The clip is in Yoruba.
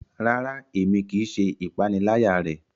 Rara, Èmí kìí ṣe ìpaniláyà rẹ